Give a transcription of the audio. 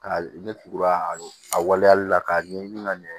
Ka ne tugura a waleyali la k'a ɲɛɲini ka ɲɛ